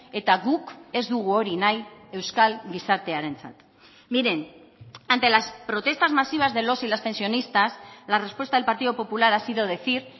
eta guk ez dugu hori nahi euskal gizartearentzat miren ante las protestas masivas de los y las pensionistas la respuesta del partido popular ha sido decir